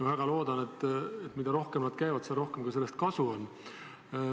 Ma väga loodan, et mida rohkem nad koos käivad, seda rohkem sellest kasu on.